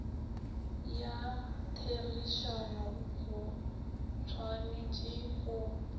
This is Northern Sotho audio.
ya therišano go tshwanetše go